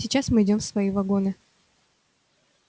сейчас мы идём в свои вагоны